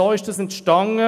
So ist das entstanden.